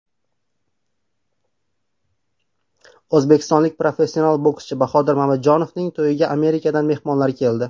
O‘zbekistonlik professional bokschi Bahodir Mamajonovning to‘yiga Amerikadan mehmonlar keldi.